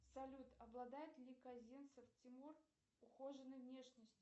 салют обладает ли казинцев тимур ухоженной внешностью